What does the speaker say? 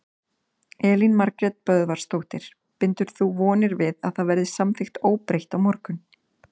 Elín Margrét Böðvarsdóttir: Bindur þú vonir við að það verði samþykkt óbreytt á morgun?